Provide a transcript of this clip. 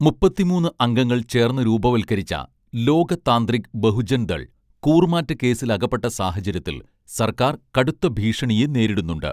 മുപ്പത്തിമൂന്ന് അംഗങ്ങൾ ചേർന്ന് രൂപവൽകരിച്ച ലോക താന്ത്രിക് ബഹുജൻദൾ കൂറുമാറ്റ കേസിലകപ്പെട്ട സാഹചര്യത്തിൽ സർക്കാർ കടുത്ത ഭീഷണിയെ നേരിടുന്നുണ്ട്